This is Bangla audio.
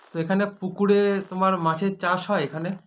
তো এখানে পুকুরে তোমার মাছের চাষ হয় এখানে